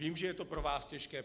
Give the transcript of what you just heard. Vím, že je to pro vás těžké.